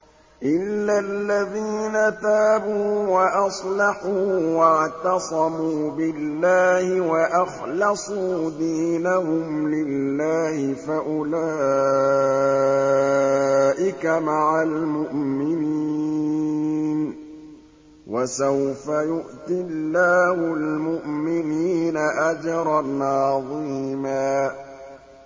إِلَّا الَّذِينَ تَابُوا وَأَصْلَحُوا وَاعْتَصَمُوا بِاللَّهِ وَأَخْلَصُوا دِينَهُمْ لِلَّهِ فَأُولَٰئِكَ مَعَ الْمُؤْمِنِينَ ۖ وَسَوْفَ يُؤْتِ اللَّهُ الْمُؤْمِنِينَ أَجْرًا عَظِيمًا